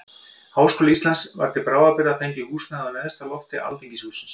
Háskóla Íslands var til bráðabirgða fengið húsnæði á neðsta lofti alþingishússins.